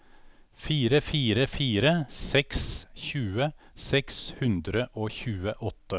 fire fire fire seks tjue seks hundre og tjueåtte